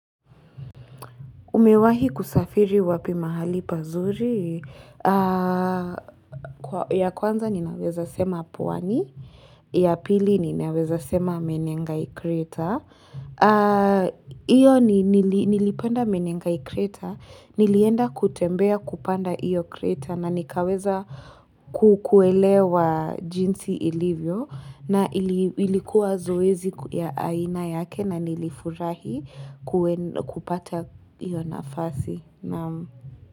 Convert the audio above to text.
Umewahi kusafiri wapi mahali pazuri? Ya kwanza ninaweza sema pwani. Ya pili ninaweza sema menengai kreta. Iyo nilipenda menengai kreta. Nilienda kutembea kupanda iyo kreta na nikaweza kukuelewa jinsi ilivyo. Na ilikuwa zoezi ya aina yake na nilifurahi kupata iyo nafasi.